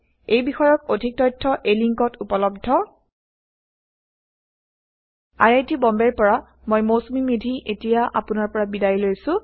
এই বিষয়ক অধিক তথ্য এই লিংকত উপলব্ধhttpspoken tutorialorgNMEICT Intro এইয়া মৌচুমী মেধীয়ে বিদায় লৈছে